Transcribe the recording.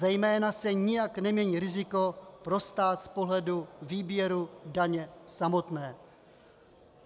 Zejména se nijak nemění riziko pro stát z pohledu výběru daně samotné.